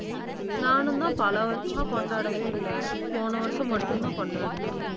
நானும் தான் பல வருஷமா கொண்டாடவே இல்லை. போன வருஷம் மட்டும்தான் கொண்டாடினேன்